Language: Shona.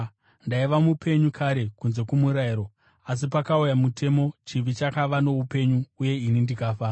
Ndaiva mupenyu kare kunze kwomurayiro; asi pakauya mutemo, chivi chakava noupenyu uye ini ndikafa.